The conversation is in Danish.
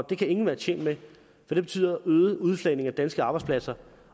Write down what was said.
det kan ingen være tjent med for det betyder øget udflagning af danske arbejdspladser